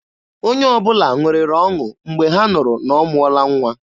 Onye ọbụla ṅụrịrị ọṅụ Mgbe ha nụrụ na ọ mụọla nwa.